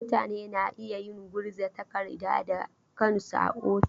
Mutane na iya yin gurza takarda da kansu a ofis.